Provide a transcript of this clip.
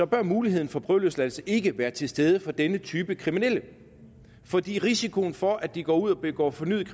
bør muligheden for prøveløsladelse ikke være til stede for denne type kriminelle fordi risikoen for at de går ud og begår fornyet